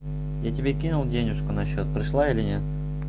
я тебе кинул денежку на счет пришла или нет